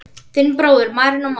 Þinn bróðir, Marinó Már.